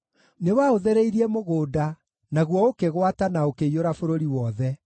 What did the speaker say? Nĩwaũthereirie mũgũnda, naguo ũkĩgwata, na ũkĩiyũra bũrũri wothe.